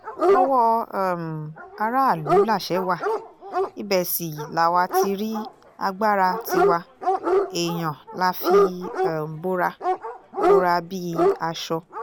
owó um aráàlú làṣẹ wa ibẹ̀ sì làwa ti rí agbára tiwa èèyàn la fi um bora bora bíi aṣọ